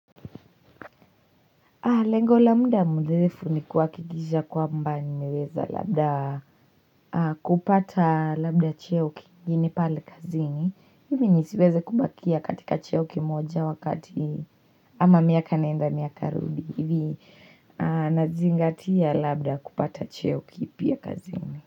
Lengo la mda mrefu ni kuhakikisha kwamba nimeweza labda kupata labda cheo kini pale kazini. Ili nisiweze kubakia katika cheo kimoja wakati ama miaka nenda miaka rudi. Ivi nazingatia labda kupata cheo kipya kazini.